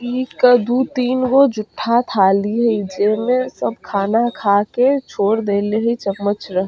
ई दू - तीन गो जूठा थाली हई जे में सब खाना खा के छोड़ देले हई चमच रख --